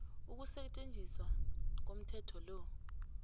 ukusetjenziswa komthetho lo